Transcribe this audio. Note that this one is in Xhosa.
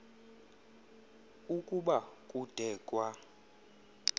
ukuba kude kwa